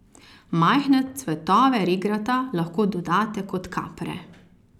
Majhne cvetove regrata lahko dodate kot kapre.